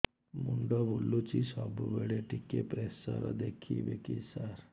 ମୁଣ୍ଡ ବୁଲୁଚି ସବୁବେଳେ ଟିକେ ପ୍ରେସର ଦେଖିବେ କି ସାର